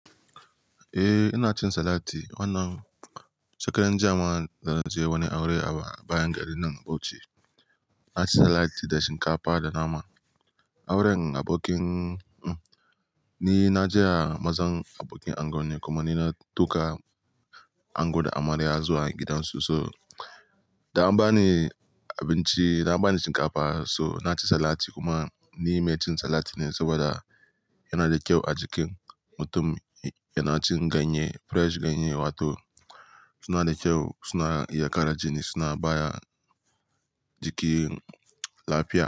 Eh, ina cin salati. Wannan shekaran jiya ma da na je wani aure a bayan gari din Bauchi. Na ci salati da shinkafa da nama. Auren abokin, ni na je a mazan abokin ango ne kuma ni na tau kayan ango da amarya zuwa gidansu so, da an bani abinci, an bani shinkafa, so na ci salati kuma ni mai cin salati ne saboda yana da kyau a jikin mutum, yana cin ganye, fresh ganye wato suna da kyau, suna iya kara jini, suna ba wa jiki lafiya.